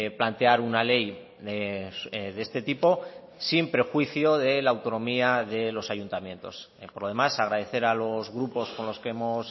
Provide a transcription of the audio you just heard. plantear una ley de este tipo sin perjuicio de la autonomía de los ayuntamientos por lo demás agradecer a los grupos con los que hemos